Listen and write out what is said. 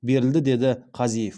берілді деді қазиев